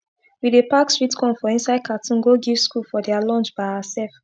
we bey pack sweet corn for inside cartoon go give school for dia lunch by oursef